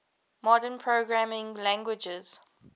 modern programming languages